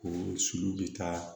O sulu bɛ taa